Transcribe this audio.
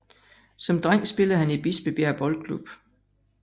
Som dreng spillede han i Bispebjerg Boldklub